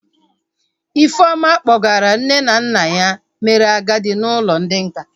Ifeoma kpọgara nne na nna ya mere agadi n'ụlọ ndị nká